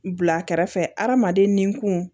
Bila kɛrɛfɛ hadamaden ni kun